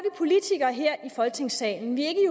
politikere her i folketingssalen vi er